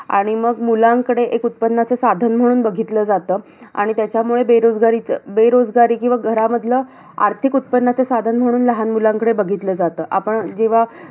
आणि मग मुलांकडे, एक उत्पन्नाचं साधन म्हणून बघितलं जातं. आणि त्याच्यामुळे, बेरोजगारीचं बेरोजगारी, किंवा घरामधलं आर्थिक उत्पन्नाचं साधन म्हणून लहान मुलांकडे बघितलं जातं. आपण जेव्हा.